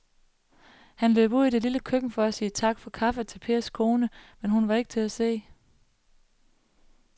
Han løb ud i det lille køkken for at sige tak for kaffe til Pers kone, men hun var ikke til at se.